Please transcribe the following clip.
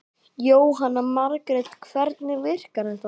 Jóhanna Margrét: Hvernig virkar þetta?